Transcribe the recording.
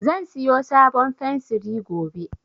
Zan siyo sabon fensiri gobe